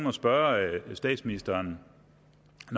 at spørge statsministeren